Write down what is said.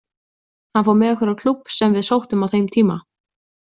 Hann fór með okkur á klúbb sem við sóttum á þeim tíma.